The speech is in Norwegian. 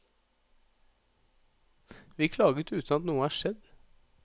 Vi klaget uten at noe er skjedd.